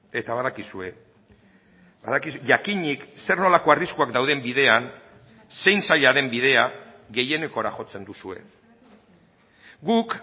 eta badakizue jakinik zer nolako arriskuak dauden bidean zein zaila den bidea gehienekora jotzen duzue guk